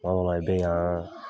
Kuama dɔw la i bɛ yan.